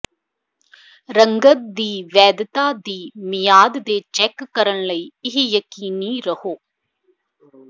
ਰੰਗਤ ਦੀ ਵੈਧਤਾ ਦੀ ਦੀ ਮਿਆਦ ਦੇ ਚੈੱਕ ਕਰਨ ਲਈ ਇਹ ਯਕੀਨੀ ਰਹੋ